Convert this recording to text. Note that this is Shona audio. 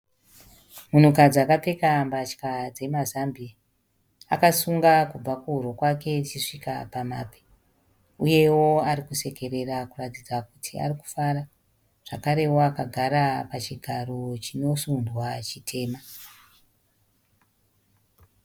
Munhukadzi akapfeka mbatya dzemazambiya. Akasunga kubva kuhuro kwake ichisvika pamabvi, uyewo ari kusekerera kuratidza kuti ari kufara. Zvakarewo akagara pachigaro chinosundwa chitema.